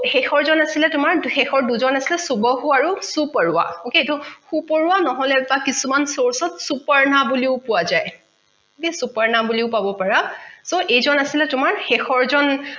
শেষৰজন আছিলে তোমাৰ শেষৰ দুজন আছিলে শুবসু আৰু শুপাৰৱা okay এইতো সুপৰুৱা বা কিছুমান source ত শুপাৰ্ণা বুলিও কোৱা যায় শুপাৰ্ণা বুলিও কব পাৰা so এইজন আছিলে তোমাৰ শেষৰ জন